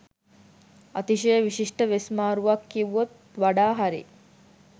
අතිශය විශිෂ්ට වෙස් මාරුවක් කිව්වොත් වඩා හරි